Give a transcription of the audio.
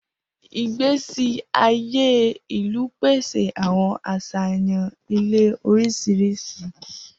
Igbesi aye ilu pese awọn aṣayan ile oriṣiriṣi.